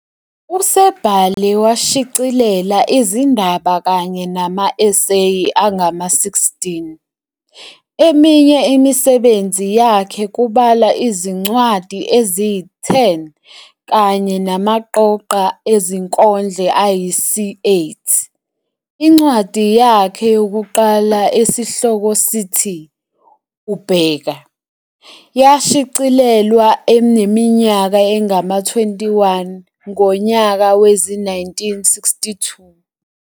Usebhale washicilela izindaba kanye nama eseyi angama-16, eminye imisebenzi yakhe kubalwa izincwadi eziyi-10 kanye namaqoqo ezinkondlo ayisi-8. Incwadi yakhe yokuqala esihloko sithi "UBheka" yashicilelwa eneminyaka engama-21 ngonyaka wezi-1962.